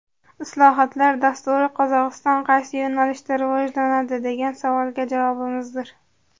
Islohotlar dasturi Qozog‘iston qaysi yo‘nalishda rivojlanadi, degan savolga javobimizdir.